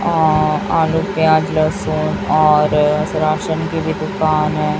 और आलू प्याज लहसुन और राशन की भी दुकान है।